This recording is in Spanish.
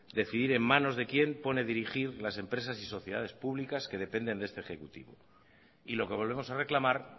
decidir en manos de quien pone a dirigir las empresas y sociedades públicas que dependen de este ejecutivo y lo que volvemos a reclamar